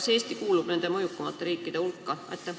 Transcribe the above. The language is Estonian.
Kas Eesti kuulub mõjukate riikide hulka?